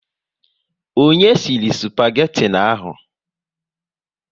Onye sịrị spageti ahụ?